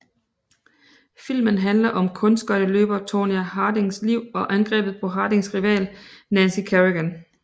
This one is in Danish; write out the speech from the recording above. Filmen handler om kunstskøjteløber Tonya Hardings liv og angrebet på Hardings rival Nancy Kerrigan